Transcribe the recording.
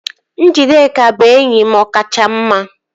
Njideka bụ enyi m ọkacha mma